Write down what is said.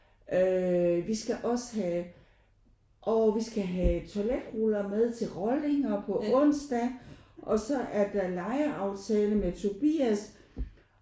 Øh vi skal også have åh vi skal have toiletruller med til rollinger på onsdag og så er der legeaftale med Tobias